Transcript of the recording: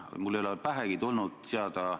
Aga küsimus ei puudutanud ju seda.